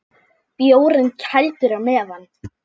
Bjórinn kældur á meðan.